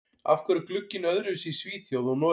Af hverju er glugginn öðruvísi í Svíþjóð og Noregi?